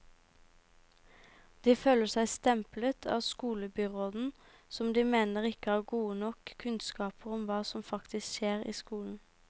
De føler seg stemplet av skolebyråden, som de mener ikke har gode nok kunnskaper om hva som faktisk skjer i skolen.